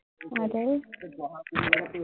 আৰু